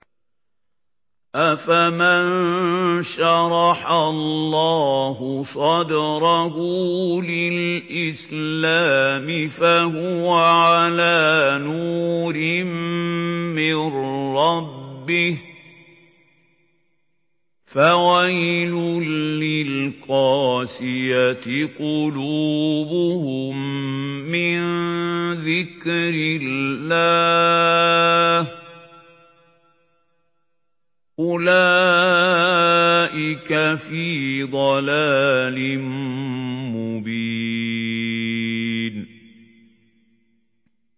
أَفَمَن شَرَحَ اللَّهُ صَدْرَهُ لِلْإِسْلَامِ فَهُوَ عَلَىٰ نُورٍ مِّن رَّبِّهِ ۚ فَوَيْلٌ لِّلْقَاسِيَةِ قُلُوبُهُم مِّن ذِكْرِ اللَّهِ ۚ أُولَٰئِكَ فِي ضَلَالٍ مُّبِينٍ